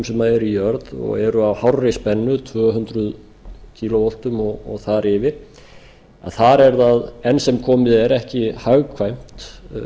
sem eru í jörð og eru á hárri spennu tvö hundruð kílóvoltum og þar yfir þar er það enn sem komið er ekki hagkvæmt